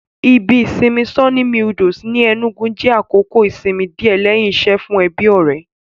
Ibi ìsinmi Sunny Meadows ní Ẹnúgu jẹ́ àkókò ìsinmi díẹ̀ lẹ́hìn iṣẹ́ fún ẹbí-ọ̀rẹ́